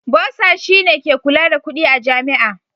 Bursar shine ke kula da kudi a Jami'a.